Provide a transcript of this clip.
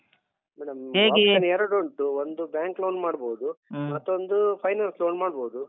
Madam cash ಅನ್ ಎರಡುಂಟು ಒಂದು bank loan ಮಾಡ್ಬೋದು ಮತ್ತೊಂದು finance loan ಮಾಡ್ಬೋದು.